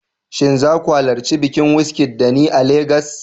Shin za ku halarci bikin Wizkid da ni a Legas?